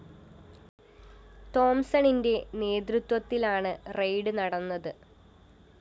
തോംസണിന്റെ നേതൃത്വത്തിലാണ് റെയ്ഡ്‌ നടന്നത്